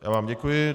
Já vám děkuji.